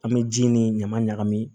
An bɛ ji ni ɲaman ɲagami